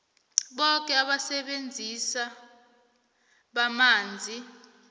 boke abasebenzisi bamanzi